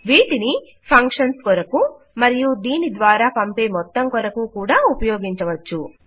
వీటిని ఫంక్షన్స్ కొరకు మరియు దీని ద్వారా పంపే మొత్తం కొరకు కూడా ఉపయోగించవచ్చును